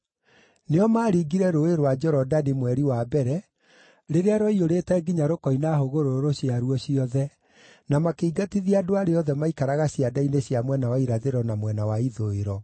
Nĩo maaringire Rũũĩ rwa Jorodani mweri wa mbere rĩrĩa rwaiyũrĩte nginya rũkoina hũgũrũrũ ciaruo ciothe, na makĩingatithia andũ arĩa othe maaikaraga cianda-inĩ cia mwena wa irathĩro na mwena wa ithũĩro.